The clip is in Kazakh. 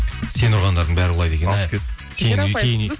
сен ұрғандардың бәрі құлайды екен ә